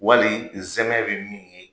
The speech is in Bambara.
Wali nsɛmɛ bɛ min ye